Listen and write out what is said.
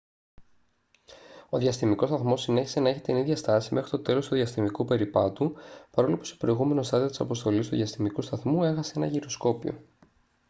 ο διαστημικός σταθμός συνέχισε να έχει την ίδια στάση μέχρι το τέλος του διαστημικού περιπάτου παρόλο που σε προηγούμενο στάδιο της αποστολής του διαστημικού σταθμού έχασε ένα γυροσκόπιο